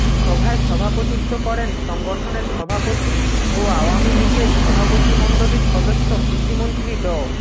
সভায় সভাপতিত্ব করেন সংগঠনের সভাপতি ও আওয়ামী লীগের সভাপতিমণ্ডলীর সদস্য কৃষিমন্ত্রী ড